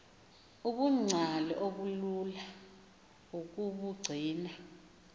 ubungcali obulula ukubugcina